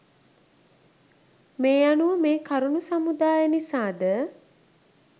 මේ අනුව මේ කරුණු සමුදාය නිසාද